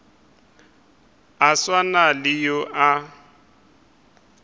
a swana le yo a